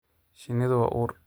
Shinnidu waa uur.